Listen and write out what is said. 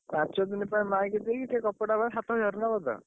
ପାଞ୍ଚ ଦିନ ପାଇଁ ମାଇକି ଦେଇକି ସେଇ କପଡ଼ା ପାଇଁ ସାତହଜାରେ ନବ ତ?